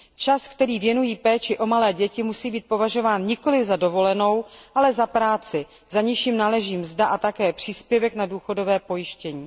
Čas, který věnují péči o malé děti, musí být považován nikoli za dovolenou, ale za práci, za niž jim náleží mzda a také příspěvek na důchodové pojištění.